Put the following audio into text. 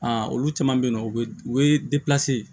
olu caman bɛ yen nɔ u bɛ u bɛ